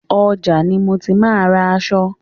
Ọjà ni mo ti máa ń ra aṣọ.